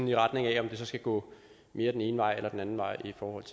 i retning af at det skal gå mere den ene vej end den anden vej i forhold